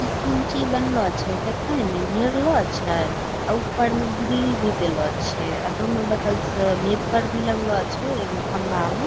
इ कोंची बनलो छे देखय न घेरलो छे अ ऊपर में ग्रिल भी दलो छै | अ दोनों बगल से भेपर भी लगलो छै ईगो खम्बा मा |